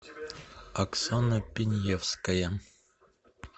оксана пиньевская